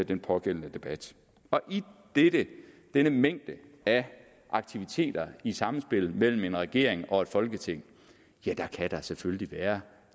den pågældende debat og i denne mængde af aktiviteter i samspillet mellem en regering og et folketing kan der selvfølgelig være